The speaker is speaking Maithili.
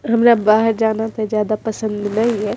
हमरा बाहर जाना ते ज्यादा पसंद ने ये।